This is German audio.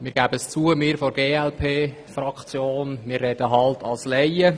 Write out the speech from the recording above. Wir geben es zu: Wir von der glp-Fraktion sprechen als Laien.